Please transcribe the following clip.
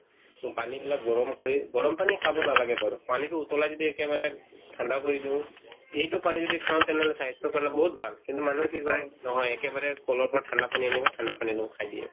পানীবিলাক গৰম কৰি গৰম পানী খাব নালাগে বাৰু পানীতো উতলাই যদি একেবাৰে ঠাণ্ডা কৰি দিও সেইটো পানী যদি খাও তেনেহ'লে স্ৱাস্থ্যৰ কাৰণে বহুত ভাল কিন্তু মানুহে কি কৰে নহয় একেবাৰে ক'লৰ পৰা ঠাণ্ডা পানী আনি কিনে ঠাণ্ডা হেনু খাই দিয়ে